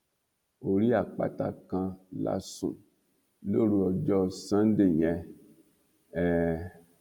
orí àpáta kan la sùn lóru ọjọ sànńdẹ yẹn um